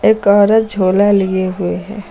एक औरत झोला लिए हुए है।